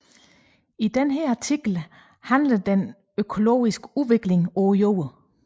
Denne artikel omhandler den økologiske udvikling på Jorden